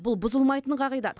бұл бұзылмайтын қағидат